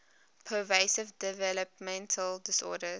pervasive developmental disorders